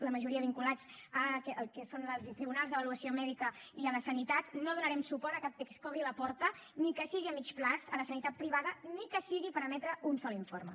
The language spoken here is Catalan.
la majoria vinculats al que són els tribunals d’avaluació mèdica i a la sanitat no donarem suport a cap text que obri la porta ni que sigui a mitjà termini a la sanitat privada ni que sigui per emetre un sol informe